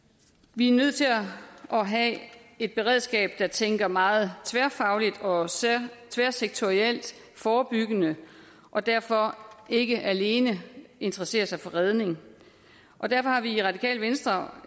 vi er nødt til at have et beredskab der tænker meget tværfagligt og tværsektorielt forebyggende og derfor ikke alene interesserer sig for redning og derfor har vi i radikale venstre